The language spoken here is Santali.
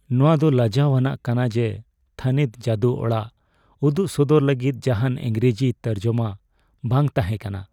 ᱱᱚᱶᱟ ᱫᱚ ᱞᱟᱡᱟᱣ ᱟᱱᱟᱜ ᱠᱟᱱᱟ ᱡᱮ ᱛᱷᱟᱹᱱᱤᱛ ᱡᱟᱹᱫᱩ ᱚᱲᱟᱜ ᱩᱫᱩᱜ ᱥᱚᱫᱚᱨ ᱞᱟᱹᱜᱤᱫ ᱡᱟᱦᱟᱱ ᱤᱝᱨᱮᱡᱤ ᱛᱚᱨᱡᱚᱢᱟ ᱵᱟᱝ ᱛᱟᱦᱮᱸ ᱠᱟᱱᱟ ᱾